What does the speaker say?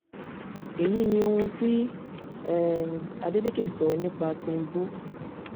èyí ni ohun tí um adeleke sọ nípa tìǹbù